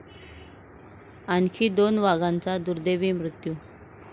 आणखी दोन वाघांचा दुर्दैवी मृत्यू